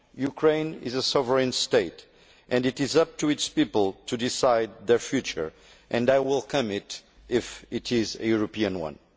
Ukraine is a sovereign state, and it is up to its people to decide their future, which I will welcome if it is a European one.